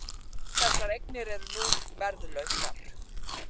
Þessar eignir eru nú verðlausar